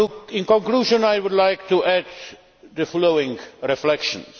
In conclusion, I would like to add the following reflections.